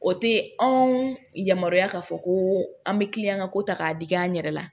O tɛ anw yamaruya k'a fɔ ko an bɛ kiliyan ka ko ta k'a digi an yɛrɛ la